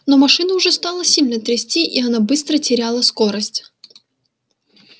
но машину уже стало сильно трясти и она быстро теряла скорость